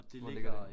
Hvor ligger det?